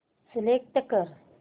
select कर